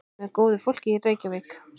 Með góðu fólki, Reykjavík.